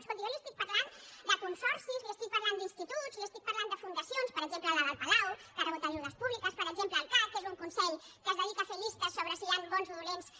escolti jo li estic parlant de consorcis li estic parlant d’instituts li estic parlant de fundacions per exemple la del palau que ha rebut ajudes públiques per exemple el cac que és un consell que es dedica a fer llistes sobre si hi ha bons o dolents